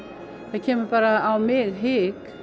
kemur bara á mig hik